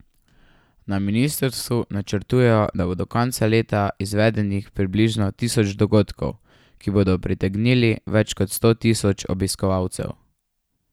Na ministrstvu načrtujejo, da bo do konca leta izvedenih približno tisoč dogodkov, ki bodo pritegnili več kot sto tisoč obiskovalcev.